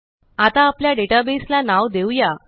आता आपल्या database ला नाव देऊया